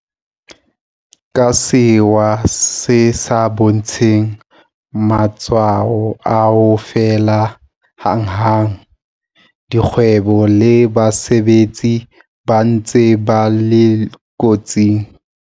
Ka sewa se sa bontsheng matshwao a ho fela hanghang, dikgwebo le basebetsi ba ntse ba le kotsing.